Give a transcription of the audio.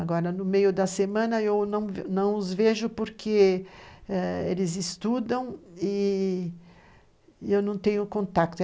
Agora, no meio da semana, eu não não os vejo porque ãh eles estudam e eu não tenho contato.